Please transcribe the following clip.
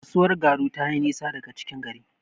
Kasuwar Garu tayi nisa daga cikin gari.